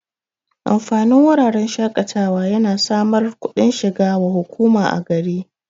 Amfanin wuraren shaƙatawa yana samar kudin shiga wa hukuma a gari